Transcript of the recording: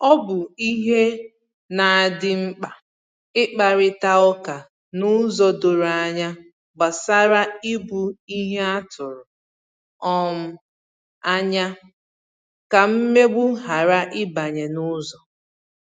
Ọ bụ ìhè na adị mkpa ikparịta ụka n’ụzọ doro ànyà gbasàrà ìbù ìhè a tụrụ um anya, ka mmegbu ghara ịbanye n’ụzọ